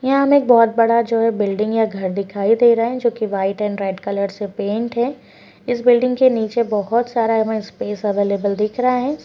यहाँ हमे जो बहौत बड़ा जो है बिल्डिंग या घर दिखाई दे रहा है जोकि वाइट एन्ड रेड कलर से पेंट है इस बिल्डिंग के निचे बहौत सारा स्पेस हमें अवेलेबल दिख रहा है।